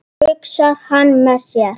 hugsar hann með sér.